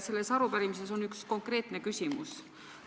Selles arupärimises on üks konkreetne küsimus.